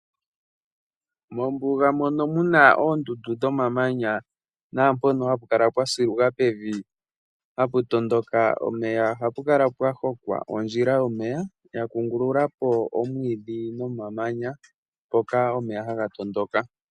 Mombuga mono muna oondundu dhomamanya naampono ha pu kala pwa siluka pevi ha pu tondoka omeya, oha pu kala pwa hokwa ondjila yomeya yakungululapo omwiidhi nomamanya mpoka omeya haga tondoka.